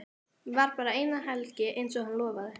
Var bara eina helgi einsog hann lofaði.